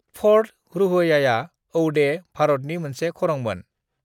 "Fort रुहयाआ औडे, भारतनि मोनसे खरंमोन।"